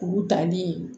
Kuru danni